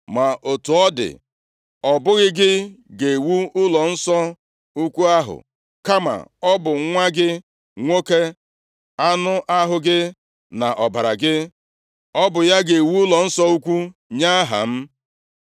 Ma otu ọ dị, ọ bụghị gị ga-ewu ụlọnsọ ukwu ahụ, kama ọ bụ nwa gị nwoke, anụ ahụ gị na ọbara gị; ọ bụ ya ga-ewu ụlọnsọ ukwu nye Aha m.’